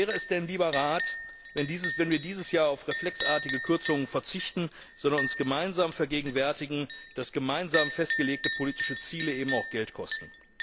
Wie wäre es denn, lieber Rat, wenn wir dieses Jahr auf reflexartige Kürzungen verzichten, sondern uns gemeinsam vergegenwärtigen, dass gemeinsam festgelegte politische Ziele eben auch Geld kosten?